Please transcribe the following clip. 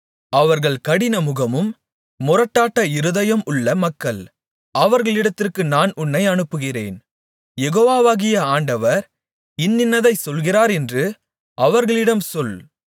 அவர்கள் கடினமுகமும் முரட்டாட்ட இருதயம் உள்ள மக்கள் அவர்களிடத்திற்கு நான் உன்னை அனுப்புகிறேன் யெகோவாகிய ஆண்டவர் இன்னின்னதை சொல்கிறார் என்று அவர்களிடம் சொல்